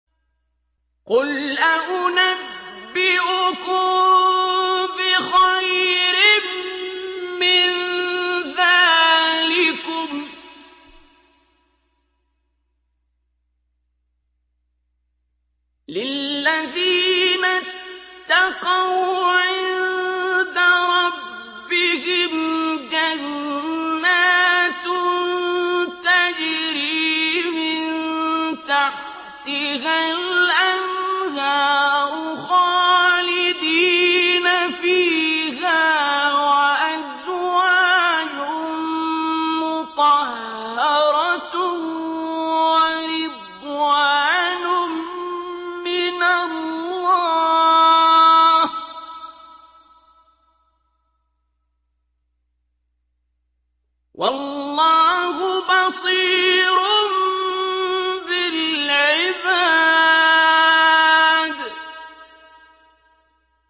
۞ قُلْ أَؤُنَبِّئُكُم بِخَيْرٍ مِّن ذَٰلِكُمْ ۚ لِلَّذِينَ اتَّقَوْا عِندَ رَبِّهِمْ جَنَّاتٌ تَجْرِي مِن تَحْتِهَا الْأَنْهَارُ خَالِدِينَ فِيهَا وَأَزْوَاجٌ مُّطَهَّرَةٌ وَرِضْوَانٌ مِّنَ اللَّهِ ۗ وَاللَّهُ بَصِيرٌ بِالْعِبَادِ